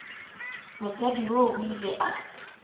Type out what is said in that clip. mosadi yoo o ile a